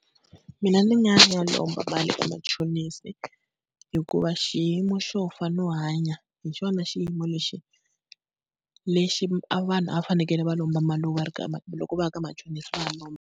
Mina ni nga ya lomba mali eka machonisi, hikuva xiyimo xo fana no hanya hi xona xiyimo lexi lexi a vanhu a va fanekele va lomba mali loko va loko va ya ka machonisi va ya lomba.